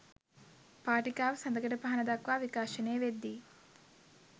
පාටිකාව සඳකඩ පහණ දක්වා විකාශනය වෙද්දී